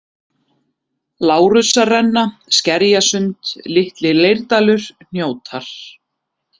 Lárussarrenna, Skerjasund, Litli-Leirdalur, Hnjótar